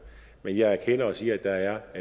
men jeg erkender og siger at der er